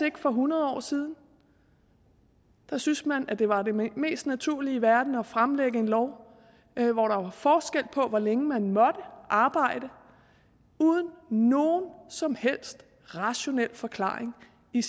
for hundrede år siden der synes man at det var det mest naturlige i verden at fremlægge en lov hvor der var forskel på hvor længe man måtte arbejde uden nogen som helst rationel forklaring i